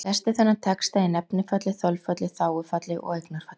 Lestu þennan texta í nefnifalli, þolfalli, þágufalli og eignarfalli.